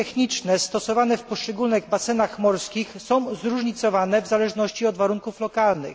Środki techniczne stosowane w poszczególnych basenach morskich są zróżnicowane w zależności od warunków lokalnych.